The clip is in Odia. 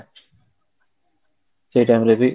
ସେଇ time ରେ ବି